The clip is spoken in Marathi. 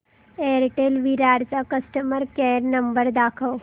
एअरटेल विरार चा कस्टमर केअर नंबर दाखव